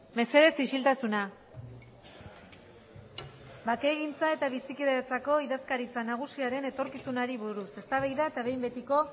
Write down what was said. mesedez isiltasuna bakegintza eta bizikidetzarako idazkaritza nagusiaren etorkizunari buruz eztabaida eta behin betiko